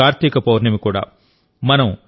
ఈ రోజు కార్తీక పౌర్ణమి కూడా